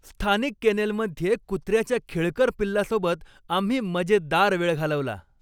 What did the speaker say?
स्थानिक केनेलमध्ये कुत्र्याच्या खेळकर पिल्लासोबत आम्ही मजेदार वेळ घालवला.